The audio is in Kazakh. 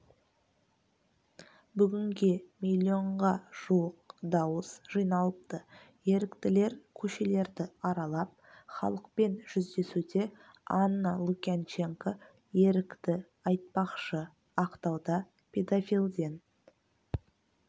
бүгінде миллионға жуық дауыс жиналыпты еріктілер көшелерді аралап халықпен жүздесуде анна лукьянченко ерікті айтпақшы ақтауда педофилден